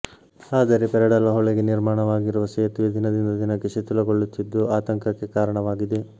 ಆದರೆ ಪೆರಡಾಲ ಹೊಳೆಗೆ ನಿರ್ಮಾಣವಾಗಿರುವ ಸೇತುವೆ ದಿನದಿಂದ ದಿನಕ್ಕೆ ಶಿಥಿಲಗೊಳ್ಳುತ್ತಿದ್ದು ಆತಂಕಕ್ಕೆ ಕಾರಣವಾಗಿದೆ